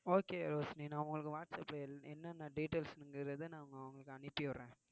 okay Roshini நான் உங்களுக்கு வாட்ஸ்ஆப்ல என்~ என்னென்ன details ங்கறத நான் உங்களுக்கு அனுப்பி விடுறேன்